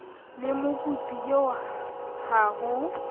le mokopi eo ha ho